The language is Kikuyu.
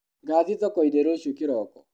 Ngathiĩ thokoinĩ rũciũ kĩroko.